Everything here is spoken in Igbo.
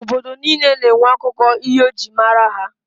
Obodo niile na-enwe akụkọ ihe e jiri mara ha.